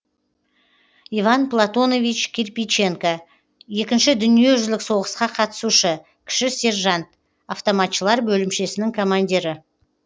иван платонович кирпиченко екінші дүниежүзілік соғысқа қатысушы кіші сержант автоматшылар бөлімшесінің командирі